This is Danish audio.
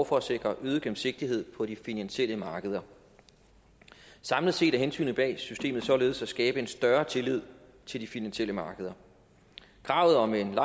for at sikre øget gennemsigtighed på de finansielle markeder samlet set er hensigten bag systemet således at skabe en større tillid til de finansielle markeder kravet om en